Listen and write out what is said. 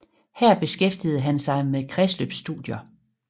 Her beskæftigede han sig med kredsløbsstudier